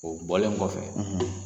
O bɔlen kɔfɛ,